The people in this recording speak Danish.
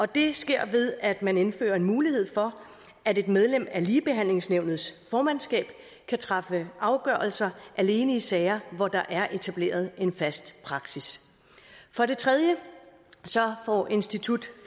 det sker ved at man indfører en mulighed for at et medlem af ligebehandlingsnævnets formandskab kan træffe afgørelser alene i sager hvor der er etableret en fast praksis for det tredje får institut